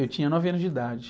Eu tinha nove anos de idade.